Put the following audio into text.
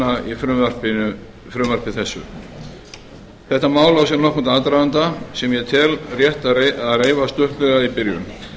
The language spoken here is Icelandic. í því frumvarpi sem hér er lagt fram þetta mál á sér nokkurn aðdraganda sem ég tel rétt að reifa stuttlega í byrjun